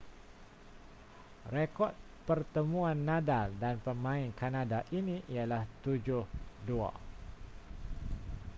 rekod pertemuan nadal dan pemain kanada ini ialah 7-2